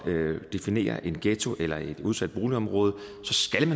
definerer en ghetto eller et udsat boligområde